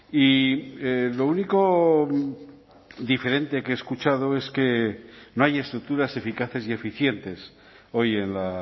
y lo único diferente que he escuchado es que no hay estructuras eficaces y eficientes hoy en la